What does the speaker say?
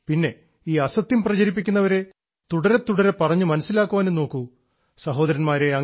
പിന്നെ അസത്യം പ്രചരിപ്പിക്കുന്നവരെ തുടരെ തുടരെ പറഞ്ഞു മനസ്സിലാക്കാനും നോക്കൂ സഹോദരന്മാരെ